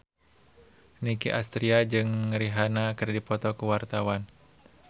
Nicky Astria jeung Rihanna keur dipoto ku wartawan